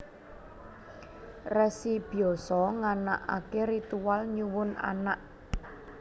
Resi Byasa nganakaké ritual nyuwun anak